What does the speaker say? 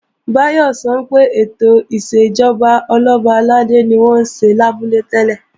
Báyọ̀ sọ pé ètò ìṣèjọba Ọlọ́ba àlàdé ni wọ́n ń ṣe lábúlé tẹ́lẹ̀